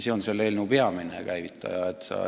See on eelnõu peamine käivitaja.